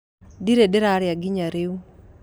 Ndirĩ ndĩrarĩa nginya rĩu